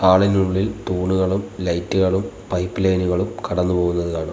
Hall ഇനുള്ളിൽ തൂണുകളും ലൈറ്റുകളും പൈപ് ലൈനുകളും കടന്ന് പോകുന്നത് കാണാം.